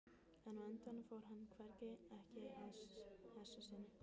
En á endanum fór hann hvergi, ekki að þessu sinni.